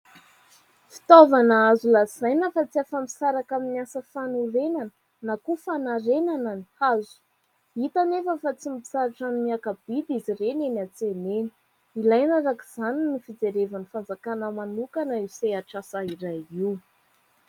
Fitaovana azo lazaina fa tsy afa-misaraka amin'ny asa fanorenana na koa fanarenana ny hazo. Hita anefa fa tsy mitsahatra ny miakabidy izy ireny eny an-tsena eny. Ilaina araka izany ny fijerevan'ny fanjakana manokana io sehatrasa iray io.